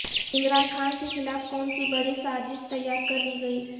عمران خان کیخلاف کونسی بڑی سازش تیار کر لی گئی